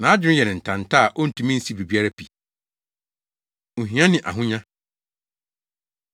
nʼadwene yɛ no ntanta a ontumi nsi biribiara pi. Ohia Ne Ahonya